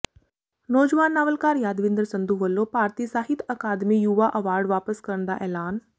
ਨੌਜਵਾਨ ਨਾਵਲਕਾਰ ਯਾਦਵਿੰਦਰ ਸੰਧੂ ਵੱਲੋਂ ਭਾਰਤੀ ਸਾਹਿਤ ਅਕਾਦਮੀ ਯੁਵਾ ਅਵਾਰਡ ਵਾਪਸ ਕਰਨ ਦਾ ਐਲਾਨ